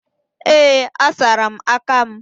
Ee, asara m aka m